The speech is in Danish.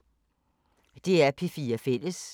DR P4 Fælles